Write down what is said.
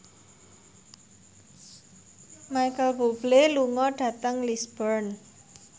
Micheal Bubble lunga dhateng Lisburn